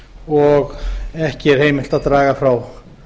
og ekki er heimilt að draga frá